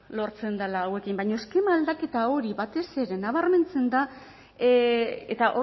lortzen dela hauekin baina eskema aldaketa hori batez ere nabarmentzen da eta